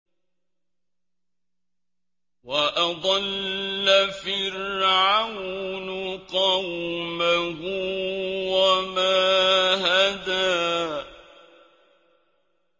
وَأَضَلَّ فِرْعَوْنُ قَوْمَهُ وَمَا هَدَىٰ